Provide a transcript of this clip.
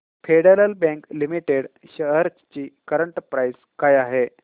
federal Bank Limited shares ची current price काय आहे